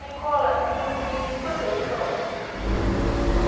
Nicola, e o senhor tem irmãos?